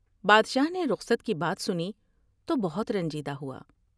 بادشاہ نے رخصت کی بات سنی تو بہت رنجیدہ ہوا ۔